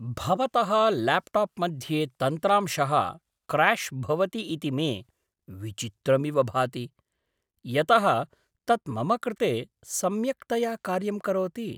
भवतः ल्याप्टाप् मध्ये तन्त्रांशः क्र्याश् भवति इति मे विचित्रमिव भाति, यतः तत् मम कृते सम्यक्तया कार्यं करोति।